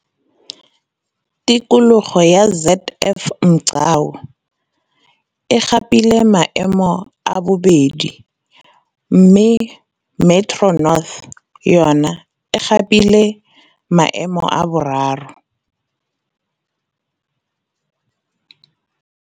Tikologo ya ZF Mgcawu, Kapa Bokone, e gapile maemo a bobedi mme Metro North, Kapa Bophi rima, yona e gapile maemo a boraro.